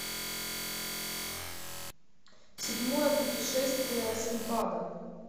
седьмое путешествие синдбада